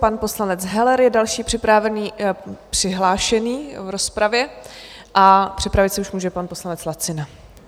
Pan poslanec Heller je další přihlášený v rozpravě a připravit se už může pan poslanec Lacina.